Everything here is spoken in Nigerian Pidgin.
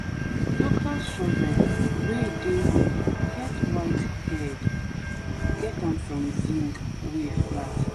the local shovel wey e dey here get wide head get am from zinc wey flat